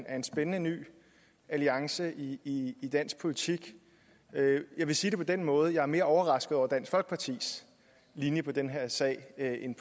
er en spændende ny alliance i dansk politik jeg vil sige det på den måde at jeg er mere overrasket over dansk folkepartis linje i den her sag end